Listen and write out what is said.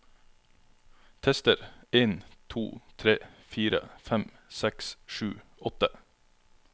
Tester en to tre fire fem seks sju åtte